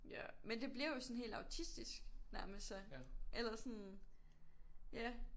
Ja men det bliver jo sådan helt autistisk nærmest så eller sådan ja